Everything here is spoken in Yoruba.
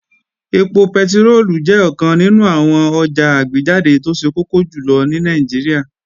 Ẹpo pẹtiróòlù jẹ́ ọ̀kan nínú àwọn ọjà àgbéjáde tó ṣe kókó jùlọ ní Nàìjíríà